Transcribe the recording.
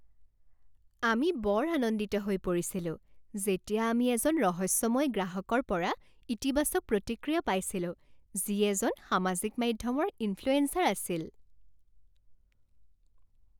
আমি বৰ আনন্দিত হৈ পৰিছিলো যেতিয়া আমি এজন ৰহস্যময় গ্ৰাহকৰ পৰা ইতিবাচক প্ৰতিক্ৰিয়া পাইছিলো যি এজন সামাজিক মাধ্যমৰ ইনফ্লুয়েঞ্চাৰ আছিল।